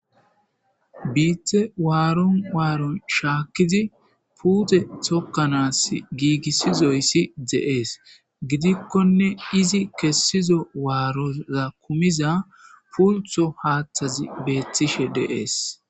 Bite waaron waaron shaakkizi puute tokkanas giigissizoyssi deees gidikkonne izi kessizo waaroza kumiza pultho haaththazi beettishe dees